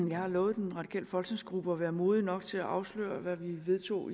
jeg har lovet den radikale folketingsgruppe at være modig nok til at afsløre hvad vi vedtog